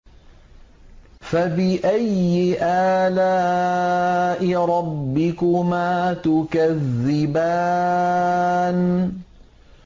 فَبِأَيِّ آلَاءِ رَبِّكُمَا تُكَذِّبَانِ